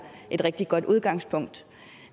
et rigtig godt udgangspunkt